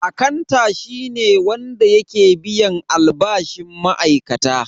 Akanta shi ne wanda yake biyan albashin ma'aikata.